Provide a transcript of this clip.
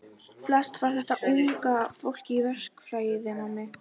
Nú beið hans Skálholtsstaður og hlý biskupsstofan.